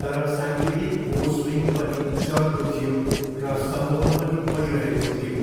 तर साङ्गीतिक हुओसुइङ पनि चर्को थियो र सम्मोहन पनि बढिरहेको थियो!